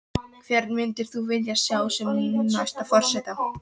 Hvern myndir þú vilja sjá sem næsta forseta?